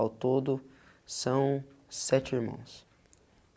Ao todo são sete irmãos.